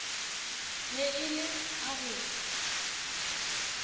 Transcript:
be e le a go